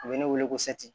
U bɛ ne wele ko